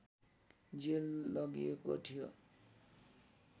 jail लगिएको थियो